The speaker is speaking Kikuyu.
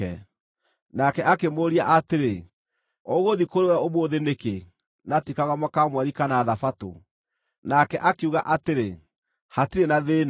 Nake akĩmũũria atĩrĩ, “Ũgũthiĩ kũrĩ we ũmũthĩ nĩkĩ, na ti Karũgamo ka Mweri kana Thabatũ?” Nake akiuga atĩrĩ, “Hatirĩ na thĩĩna.”